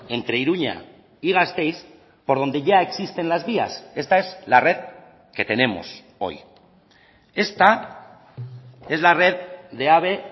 entre iruña y gasteiz por donde ya existen las vías esta es la red que tenemos hoy esta es la red de ave